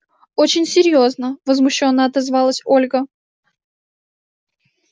очень серьёзно возмущённо отозвалась ольга